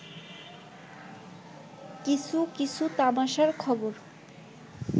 কিছু কিছু তামাশার খবর